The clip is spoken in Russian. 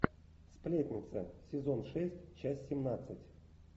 сплетница сезон шесть часть семнадцать